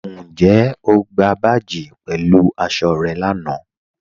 Ǹjẹ̀ o gbà báàjì pẹ̀lú aṣọ̀ rẹ̀ láńà?